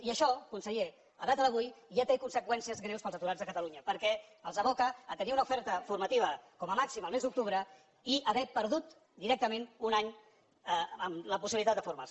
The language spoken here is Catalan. i això conseller a data d’avui ja té conseqüències greus per als aturats de catalunya perquè els aboca a tenir una oferta formativa com a màxim el mes d’octubre i a haver perdut directament un any en la possibilitat de formar se